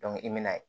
i m'a ye